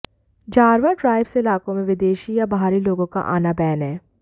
Jarawa tribes इलाकों में विदेशी या बाहरी लोगों का आना बैन है